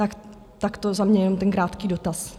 Tak takto za mě jenom ten krátký dotaz.